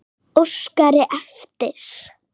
Óskari eftir.